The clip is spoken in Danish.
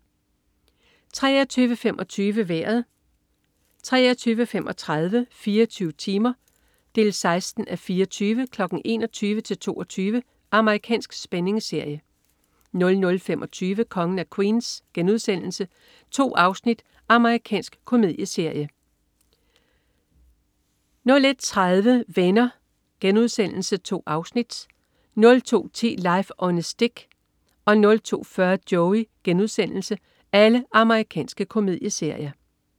23.25 Vejret 23.35 24 timer 16:24. 21:00-22:00. Amerikansk spændingsserie 00.25 Kongen af Queens.* 2 afsnit. Amerikansk komedieserie 01.30 Venner.* 2 afsnit. Amerikansk komedieserie 02.10 Life on a Stick. Amerikansk komedieserie 02.40 Joey.* Amerikansk komedieserie